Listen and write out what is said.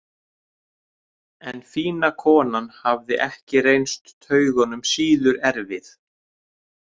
En fína konan hafði ekki reynst taugunum síður erfið.